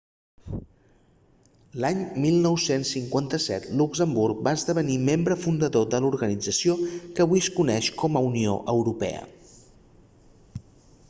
l'any 1957 luxemburg va esdevenir membre fundador de l'organització que avui es coneix com a unió europea